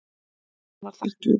Hún var þakklát.